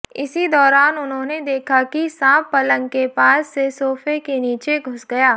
इसी दौरान उन्होंने देखा कि सांप पलंग के पास से सोफे के नीचे घुस गया